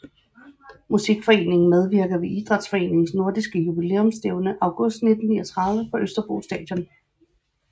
Musikforeningen medvirker ved Idrætsforeningens nordiske jubilæumsstævne august 1939 på Østerbro Stadion